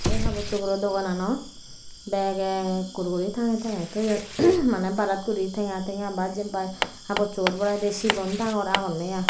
eh habor sugoror dogannot bag ekkur guri tangey tangey toyon maneh barat guri tenga tenga ba jempai habosuor boraidey sigon dangor agon i.